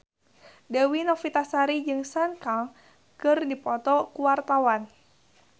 Dewi Novitasari jeung Sun Kang keur dipoto ku wartawan